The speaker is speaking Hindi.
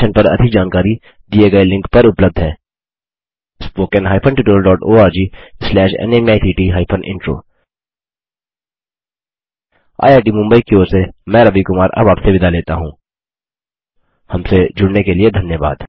इस मिशन पर अधिक जानकारी दिए गए लिंक पर उपलब्ध है httpspoken tutorialorgNMEICT Intro IIT Mumbai की ओर से मैं रवि कुमार अब आपसे विदा लेता हूँहमसे जुड़ने के लिए धन्यवाद